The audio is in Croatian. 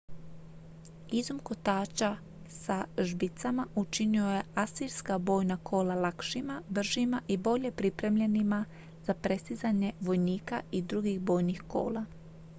izum kotača sa žbicama učinio je asirska bojna kola lakšima bržima i bolje pripremljenima za prestizanje vojnika i drugih bojnih kola